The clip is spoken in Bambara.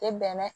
Tɛ bɛnɛ